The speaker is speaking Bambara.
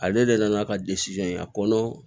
Ale de nana ka a kɔnɔ